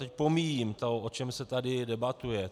Teď pomíjím to, o čem se tady debatuje.